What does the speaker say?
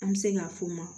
An bɛ se ka f'o ma